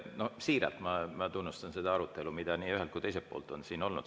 Ma siiralt tunnustan seda arutelu, mis nii ühelt kui ka teiselt poolt on siin olnud.